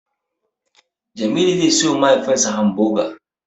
Jamilu zai siyowa mahaifinsa Hamboga.